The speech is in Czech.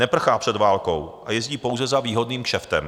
Neprchá před válkou a jezdí pouze za výhodným kšeftem.